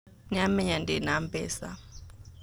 Nĩamenya ndĩna mbeca